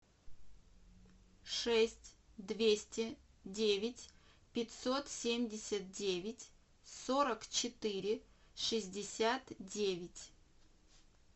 шесть двести девять пятьсот семьдесят девять сорок четыре шестьдесят девять